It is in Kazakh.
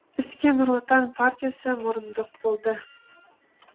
іске нұр отан партиясы мұрындық болды